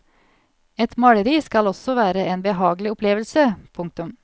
Et maleri skal også være en behagelig opplevelse. punktum